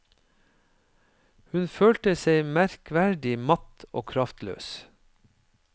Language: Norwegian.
Hun følte seg merkverdig matt og kraftløs.